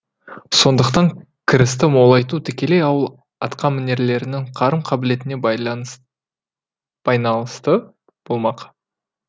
сондықтан кірісті молайту тікелей ауыл атқамінерлерінің қарым қабілетіне байналысты болмақ